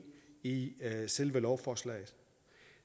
i selve lovforslaget